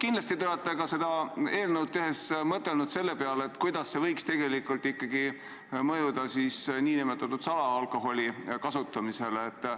Kindlasti te seda eelnõu tehes mõtlesite ka selle peale, kuidas see võiks ikkagi mõjutada salaalkoholi kasutamist.